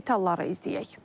Detalları izləyək.